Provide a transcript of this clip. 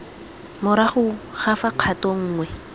morago ga fa kgato nngwe